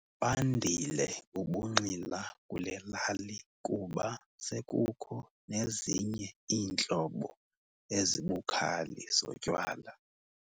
Bandile ubunxila kule lali kuba sekukho nezinye iintlobo ezibukhali zotywala.